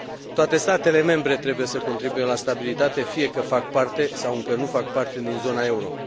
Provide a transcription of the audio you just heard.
Toate statele membre trebuie să contribuie la stabilitate, fie că fac parte, sau încă nu fac parte din zona euro.